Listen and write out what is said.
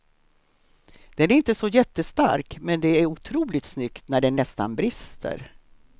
Den är inte så jättestark men det är otroligt snyggt när den nästan brister.